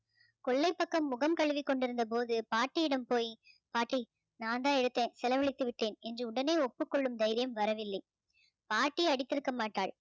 கொள்ளைப்பக்கம் முகம் கழுவிக்கொண்டிருந்த போது பாட்டியிடம் போய் பாட்டி நான் தான் எடுத்தேன் செலவழித்து விட்டேன் என்று உடனே ஒப்புக்கொள்ளும் தைரியம் வரவில்லை பாட்டி அடித்திருக்கமாட்டாள்